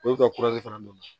O bɛ ka fana don